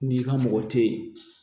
N'i ka mɔgɔ tɛ ye